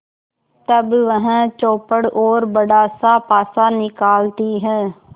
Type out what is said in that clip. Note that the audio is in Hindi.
तब वह चौपड़ और बड़ासा पासा निकालती है